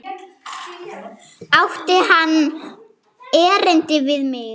Átti hann erindi við mig?